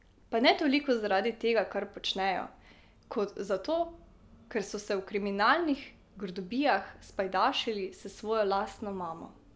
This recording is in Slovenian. Pa ne toliko zaradi tega, kar počnejo, kot zato, ker so se v kriminalnih grdobijah spajdašili s svojo lastno mamo.